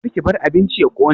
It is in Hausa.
Karki bar abincin ya ƙone